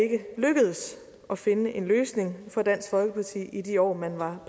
lykkedes at finde en løsning for dansk folkeparti i de år man var